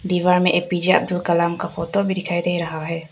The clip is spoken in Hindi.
दीवार में पीछे एक अब्दुल कलाम का फोटो भी दिखाई दे रहा हैं।